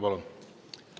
Palun!